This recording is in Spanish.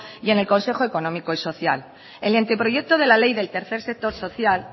y en el consejo económico y social el anteproyecto de la ley del tercer sector social